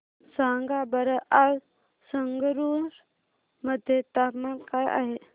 सांगा बरं आज संगरुर मध्ये तापमान काय आहे